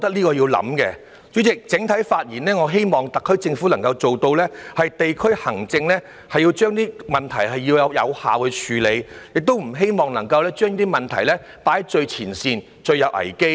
代理主席，整體而言，我希望特區政府能夠做到，在地區行政上有效地處理問題，不要把問題放在最前線、最有危機的位置。